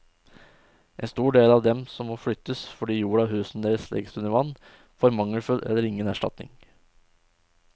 En stor del av dem som må flyttes fordi jorda og husene deres legges under vann, får mangelfull eller ingen erstatning.